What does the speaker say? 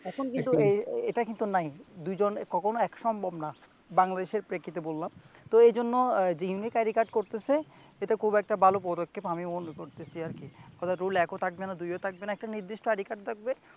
এখন কিন্তু এটা কিন্তু নাই দুইজন কখনো এক সম্ভব না বাংলদেশের প্রেক্ষিতে বললাম তো এই জন্য যে ই unique ID card করতেছে এটা খুব একটা ভালো প্রদক্ষেপ আমি মনে করতেছি আর কি হয়তো রোল এক ও থাকবে না দুইও থাকবে না একটা নির্দিষ্ট ID card থাকবে